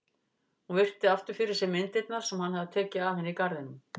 Hún virti aftur fyrir sér myndirnar sem hann hafði tekið af henni í garðinum.